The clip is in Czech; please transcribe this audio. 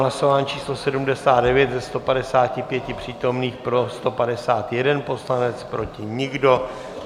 Hlasování číslo 79, ze 155 přítomných pro 151 poslanec, proti nikdo.